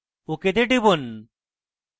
ok তে টিপুন